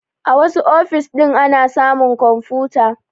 A wassu ofis ɗin ana samun kwamfuta